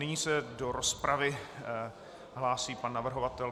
Nyní se do rozpravy hlásí pan navrhovatel.